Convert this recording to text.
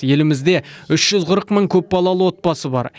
елімізде үш жүз қырық мың көпбалалы отбасы бар